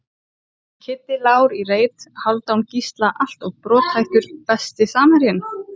Kiddi Lár í reit, Hálfdán Gísla alltof brothættur Besti samherjinn?